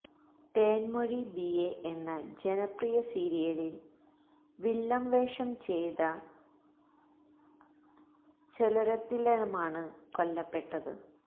Thenmozhi BA എന്ന ജനപ്രിയ സീരിയലില് വില്ലന് വേഷം ചെയ്ത സെല്വരത്തിനമാണ് കൊല്ലപ്പെട്ടത്